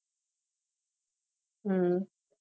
ஹம்